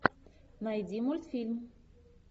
найди мультфильм